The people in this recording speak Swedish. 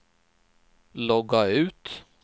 logga ut